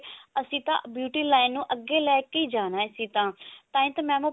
ਅਸੀਂ ਤਾਂ beauty line ਨੂੰ ਅੱਗੇ ਲੈਕੇ ਜਾਣਾ ਅਸੀਂ ਤਾਂ ਤਾਹੀ ਤਾਂ mam ਉਹ